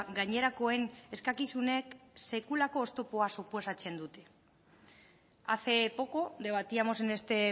gainerakoen eskakizunek sekulako oztopoa suposatzen dute hace poco debatíamos en este